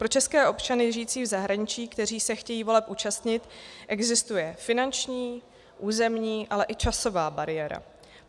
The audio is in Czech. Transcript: Pro české občany žijící v zahraničí, kteří se chtějí voleb účastnit, existuje finanční, územní, ale i časová bariéra.